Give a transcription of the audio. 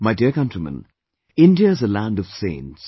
My dear countrymen, India is a land of saints